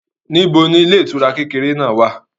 Níbo ni ilé ìtura kékeré náà wà?